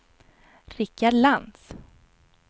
Rickard Lantz